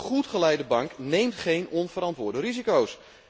Een goed geleide bank neemt geen onverantwoorde risico's.